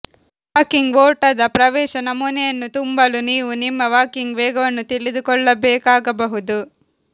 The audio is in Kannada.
ವಾಕಿಂಗ್ ಓಟದ ಪ್ರವೇಶ ನಮೂನೆಯನ್ನು ತುಂಬಲು ನೀವು ನಿಮ್ಮ ವಾಕಿಂಗ್ ವೇಗವನ್ನು ತಿಳಿದುಕೊಳ್ಳಬೇಕಾಗಬಹುದು